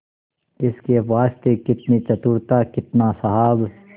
इसके वास्ते कितनी चतुरता कितना साहब